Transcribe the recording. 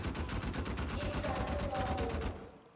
e sa le wa go